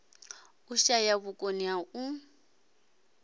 u shaya vhukoni ha u